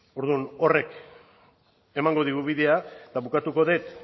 orduan horrek emango digu bidea eta bukatuko dut